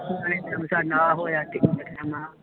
ਸੁਪਨੇ ਚ ਐਸਾ ਨਾ ਹੋਇਆ